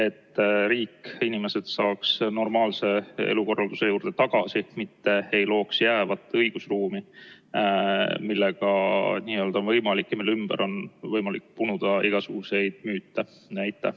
Et millalgi riik, inimesed saaks normaalse elukorralduse juurde tagasi, mitte ei looks jäävat õigusruumi, mille korral on võimalik ja mille ümber on võimalik punuda igasuguseid müüte?